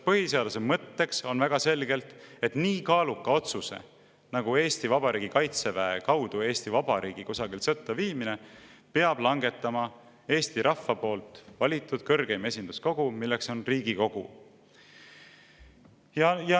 Põhiseaduse mõtteks on väga selgelt, et nii kaaluka otsuse, nagu on Eesti Vabariigi kaitseväe kaudu Eesti Vabariigi kusagile sõtta viimine, peab langetama Eesti rahva poolt valitud kõrgeim esinduskogu, milleks on Riigikogu.